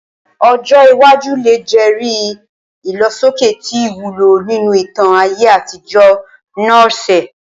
Ojo iwaju le jẹri ilosoke ti iwulo ninu itan aye atijọ Norse.